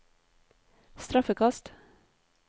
straffekast